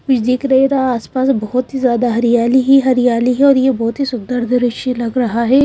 कुछ दिख नहीं रहा आसपास बहुत ही ज्यादा हरियाली हरियाली है और ये बहुत ही सुंदर दृश्य लग रहा है।